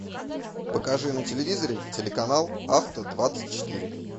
покажи на телевизоре телеканал авто двадцать четыре